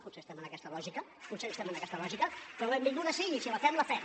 potser estem en aquesta lògica potser estem en aquest lògica però benvinguda sigui si la fem la fem